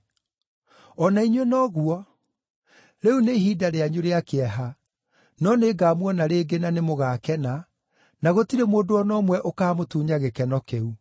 O na inyuĩ noguo: Rĩu nĩ ihinda rĩanyu rĩa kĩeha, no nĩngamuona rĩngĩ na nĩmũgakena, na gũtirĩ mũndũ o na ũmwe ũkaamũtunya gĩkeno kĩu.